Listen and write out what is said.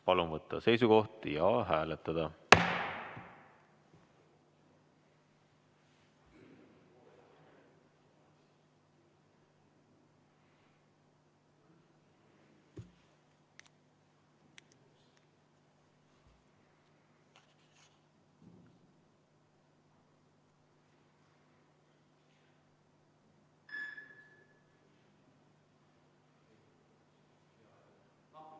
Palun võtta seisukoht ja hääletada!